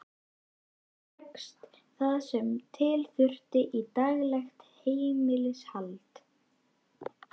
Þar fékkst það sem til þurfti í daglegt heimilishald.